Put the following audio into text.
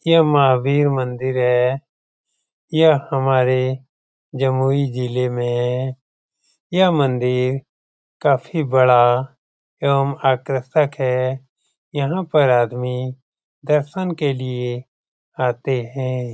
यह महावीर मंदिर है। यह हमारे जमुई जीले में है। यह मंदिर काफी बड़ा एवं आकर्षक है। यहाँ पर आदमी दर्शन के लिए आते है।